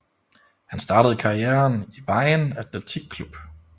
Han startede karrieren i Vejen Atletik Klub